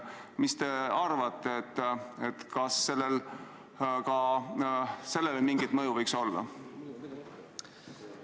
Mis te arvate, kas sellel eelnõul ka sellele mingit mõju võiks olla?